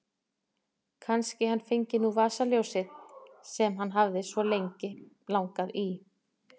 Kannski hann fengi nú vasaljósið sem hann hafði svo lengi langað í.